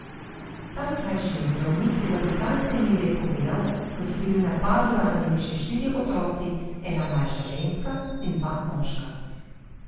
Tamkajšnji zdravnik je za britanske medije povedal, da so bili v napadu ranjeni še štirje otroci, ena mlajša ženska in dva moška.